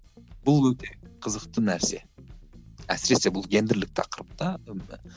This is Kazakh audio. бұл өте қызықты нәрсе әсіресе бұл гендірлік тақырыпта